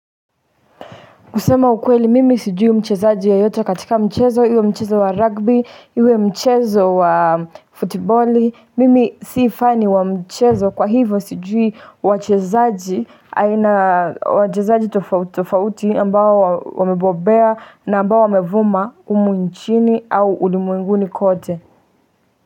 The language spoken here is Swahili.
Kusema ukweli mimi sijui mchezaji yeyote katika mchezo iwe mchezo wa rugby iwe mchezo wa futiboli mimi sii fani wa mchezo kwa hivo sijui wachezaji aina wachezaji tofauti tofauti ambao wamebobea na ambao wamevuma humu nchini au ulimwenguni kote.